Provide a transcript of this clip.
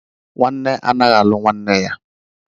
Nwanne anaghị alụ nwanne ya